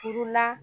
Furu la